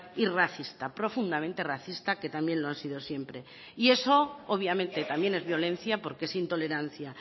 y racista profundamente racista que también lo han sido siempre y eso obviamente también es violencia porque es intolerancia